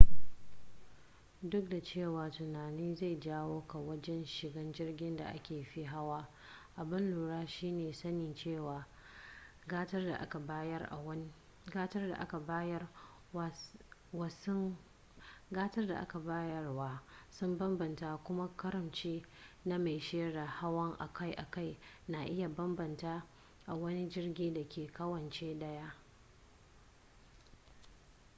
duk da cewa tunani zai jawo ka wajen shiga jirgin da aka fi hawa abun lura shine sanin cewa gatar da aka bayar wa sun bambanta kuma karamci na mai shaidar hawa akai-akai na iya bambanta a wani jirgi dake kawance daya